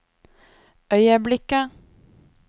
øyeblikket